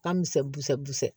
Ka misɛn busɛ busɛ